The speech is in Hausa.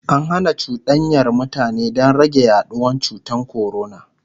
an Hana cuɗanyar mutane Dan rage yaduwan cutan corona